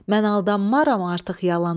Mən aldanmaram artıq yalana.